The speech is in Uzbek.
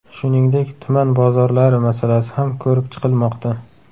Shuningdek, tuman bozorlari masalasi ham ko‘rib chiqilmoqda.